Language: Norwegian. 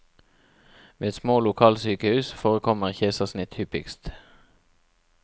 Ved små lokalsykehus forekommer keisersnitt hyppigst.